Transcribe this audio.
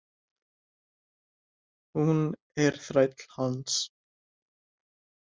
Hún er þræll hans.